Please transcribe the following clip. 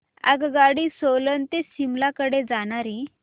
आगगाडी सोलन ते शिमला कडे जाणारी